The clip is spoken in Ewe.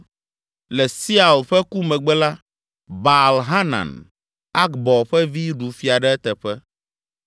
Le Siaul ƒe ku megbe la, Baal Hanan, Akbor ƒe vi ɖu fia ɖe eteƒe.